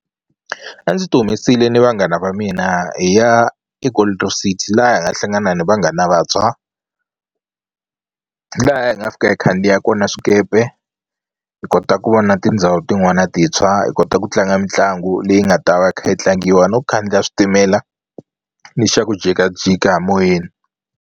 A ndzi ti humesile ni vanghana va mina hi ya eGold Reef City laha hi nga hlangana ni vanghana vantshwa laha hi nga fika hi khandziya kona swikepe hi hi kota ku vona tindhawu tin'wana tintshwa hi kota ku tlanga mitlangu leyi nga ta va yi kha yi tlangiwa no khandziya switimela ni xa ku jikajika moyeni.